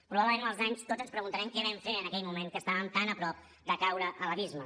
probablement amb els anys tots ens preguntarem què vam fer en aquell moment que estàvem tan a prop de caure a l’abisme